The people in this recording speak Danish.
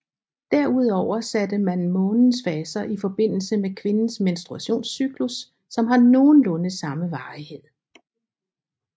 Derudover satte man månens faser i forbindelse med kvindens menstruationscyklus som har nogenlunde samme varighed